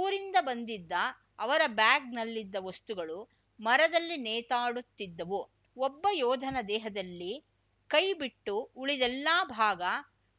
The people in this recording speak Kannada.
ಊರಿಂದ ಬಂದಿದ್ದ ಅವರ ಬ್ಯಾಗ್‌ನಲ್ಲಿದ್ದ ವಸ್ತುಗಳು ಮರದಲ್ಲಿ ನೇತಾಡುತ್ತಿದ್ದವು ಒಬ್ಬ ಯೋಧನ ದೇಹದಲ್ಲಿ ಕೈ ಬಿಟ್ಟು ಉಳಿದೆಲ್ಲಾ ಭಾಗ